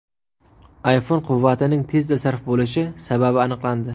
iPhone quvvatining tezda sarf bo‘lishi sababi aniqlandi.